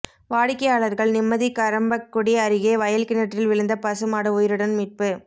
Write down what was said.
வாடிக்கையாளர்கள் நிம்மதி கறம்பக்குடி அருகே வயல் கிணற்றில் விழுந்த பசு மாடு உயிருடன் மீட்பு